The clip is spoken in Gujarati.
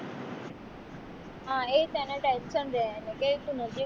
હ એ જ એને tension રહે એને કે તું નજીક